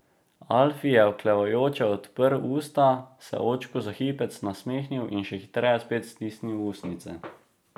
Alfi je oklevajoče odprl usta, se očku za hipec nasmehnil in še hitreje spet stisnil ustnice.